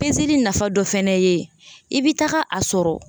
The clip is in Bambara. nafa dɔ fɛnɛ ye i bi taga a sɔrɔ